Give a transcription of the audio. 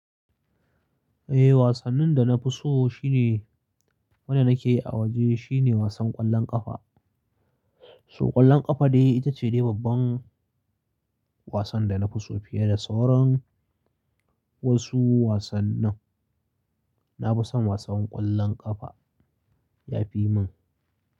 Wasannin da nafi so shine, wanda nake a waje shine wasan ƙwallon ƙafa. So ƙwallon ƙafa dai ita ce dai babban wasan dana fiso fiye da sauran wasu wasannin. Na fison wasan ƙwallon ƙafa yafi min.